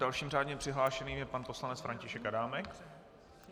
Dalším řádně přihlášeným je pan poslanec František Adámek.